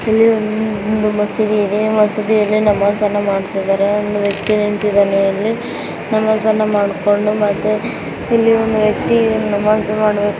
ಇಲ್ಲಿ ಒಂದು ಮಸೀದಿ ಇದೆ ಮಸೀದಿಯಲ್ಲಿ ನಮಾಜ್ ಅನ್ನ ಮಾಡುತ್ತಿದ್ದಾರೆ ಒಬ್ಬ ವ್ಯಕ್ತಿ ನಿಂತಿದ್ದಾನೆ. ಅಲ್ಲಿ ನಮಾಜ್ ಅನ್ನು ಮಾಡಿಕೊಂಡು ಮತ್ತೆ ಇಲ್ಲಿ ಒಂದು ವ್ಯಕ್ತಿ ನಮಾಜ್ ಮಾ --